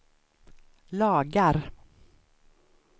lagar